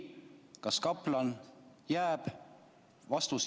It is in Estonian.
Kas kaplanaat jääb?